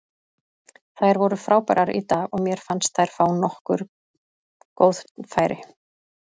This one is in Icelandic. Þær voru frábærar í dag og mér fannst þær fá nokkur góð færi.